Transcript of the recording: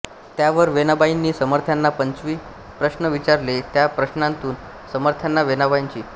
त्यावर वेणाबाईंनी समर्थांना पंचवी प्रश्न विचारले त्या प्रश्नातून समर्थांना वेनाबाईंची